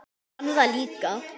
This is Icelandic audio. Hann fann það líka.